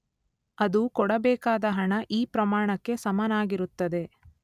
ಅದು ಕೊಡಬೇಕಾದ ಹಣ ಈ ಪ್ರಮಾಣಕ್ಕೆ ಸಮನಾಗಿರುತ್ತದೆ.